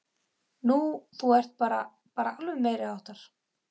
Nú. þú ert bara. bara alveg meiriháttar!